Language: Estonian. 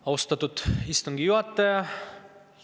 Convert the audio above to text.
Austatud istungi juhataja!